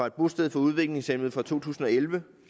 et bosted for udviklingshæmmede fra to tusind og elleve